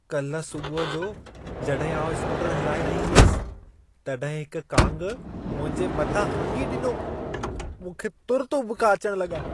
कल्ह सुबुहु जो जॾहिं आउं स्कूटरु हलाए रही हुयसि, तॾहिं हिक कांग मुंहिंजे मथां हंगी ॾिनो। मूंखे तुर्त उॿिका अचण लॻा।